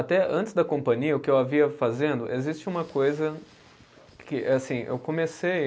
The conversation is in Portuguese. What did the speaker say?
Até antes da companhia, o que eu havia fazendo, existe uma coisa que, assim, eu comecei.